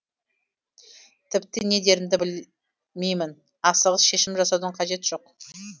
тіпті не дерімді білеймін асығыс шешім жасаудың қажеті жоқ